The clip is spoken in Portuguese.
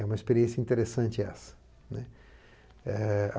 É uma experiência interessante essa.